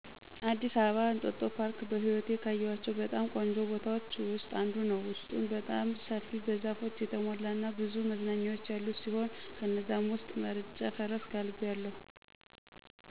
አዲስ አበባ እንጦጦ ፓርክ በህይወቴ ካየኋቸው በጣም ቆንጆ ቦታዎች ውስጥ አንዱ ነው። ውስጡም በጣም ሰፊ፣ በዛፎች የተሞላ እና ብዙ መዝናኛዎች ያሉት ሲሆን ከነዛም ውስጥ መርጬ ፈረስ ጋልቢያለሁ።